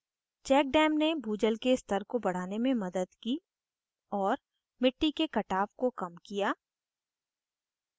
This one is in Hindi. check dams ने भूजल के स्तर को बढ़ाने में मदद की और मिट्टी के कटाव को dams किया